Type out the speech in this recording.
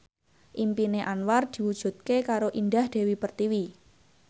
impine Anwar diwujudke karo Indah Dewi Pertiwi